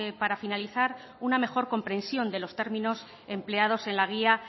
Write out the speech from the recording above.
para finalizar una mejor comprensión de los términos empleados en la guía